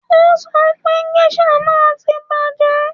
O sọ pé géṣà náà ti bàjẹ́